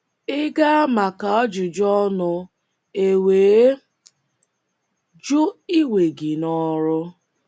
Ị gaa maka ajụjụ ọnụ e wee jụ iwe gị n’ọrụ.